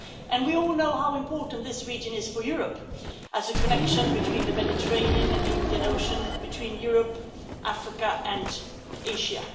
And we all know how important this region is for Europe as a connection between the Mediterranean and the Indian Ocean, between Europe, Africa and Asia.